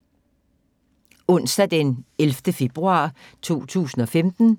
Onsdag d. 11. februar 2015